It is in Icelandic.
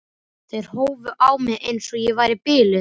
Löggurnar studdu hann upp úr byrginu.